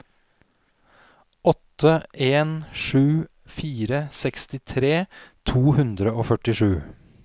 åtte en sju fire sekstitre to hundre og førtisju